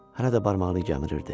Hələ də barmağını gəmürürdü.